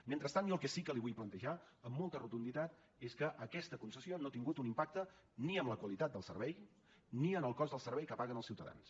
mentrestant jo el que sí que li vull plantejar amb molta rotunditat és que aquesta concessió no ha tingut un impacte ni en la qualitat del servei ni en el cost del servei que paguen els ciutadans